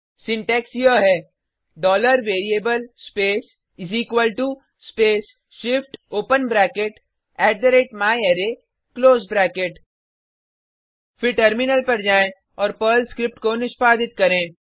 syntax यह है variable space space shift open bracket myArray close bracket फिर terminal पर जाएँ और पर्ल स्क्रिप्ट को निष्पादित करें